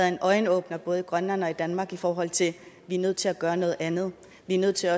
en øjenåbner i både grønland og danmark i forhold til at vi er nødt til at gøre noget andet vi er nødt til